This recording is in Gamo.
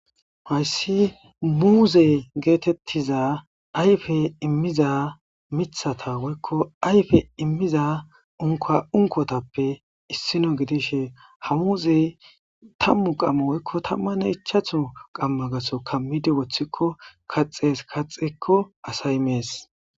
hayssi muuze geetettiza ayfe immiza mithata woykko ayfe immiza unka unkotappe issino gidishe ha muuze tammu qamma woykko tamman ichatho qammagaso kammidi woththikko kaxees kaxekko asay mees